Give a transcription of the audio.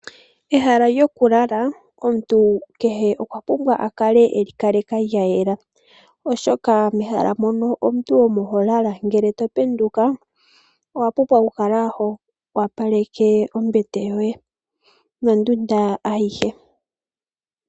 Ehala lyokulala omuntu kehe okwapumbwa akale eli kaleka lyayela, oshoka mehala mono omuntu omo holala ngele topenduka owapumbwa oku kala howapaleke ombete yoye nondunda ayihe.